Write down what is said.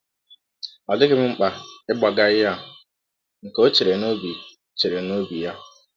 Ọ dịghị m mkpa ịgbagha ihe a, ka ọ chere n’ọbi chere n’ọbi ya.